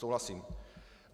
Souhlasím.